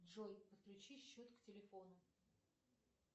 джой подключи счет к телефону